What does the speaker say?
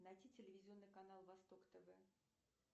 найти телевизионный канал восток тв